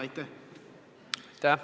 Aitäh!